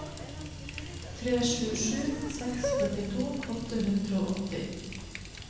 tre sju sju seks førtito åtte hundre og åtti